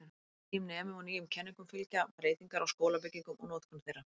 Nýjum nemum og nýjum kenningum fylgja breytingar á skólabyggingum og notkun þeirra.